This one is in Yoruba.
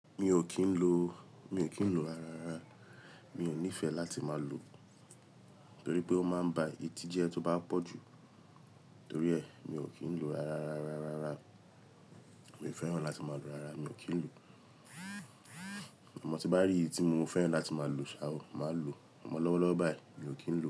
Mi ò kí ń lo, mi ò kí ń lo rárá rárá. Mi ò nífẹ̀ẹ́ láti máa lu, torí pé ó máa ń ba etí jẹ tó bá pọ̀ jù. Torí ẹ mi ò kí ń lo rárá rárá, rárá. Mi ò fẹ́ràn láti máa lo rárá, mi ò kí ń lu. A mọ tí bá rí èyí tí mo fẹ́ràn láti máa lu, sá à ó, má lo. A mọ lọ́wọ́lọ́wọ́ báyìí, mi ò kí ń lu.